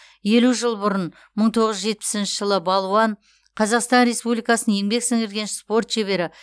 елу жыл бұрын мың тоғыз жүз жетпісінші жылы балуан қазақстан республикасының еңбек сіңірген спорт шебері